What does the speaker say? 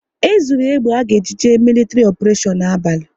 E zuru egbe à ga eji jee militri oparetion n'abalị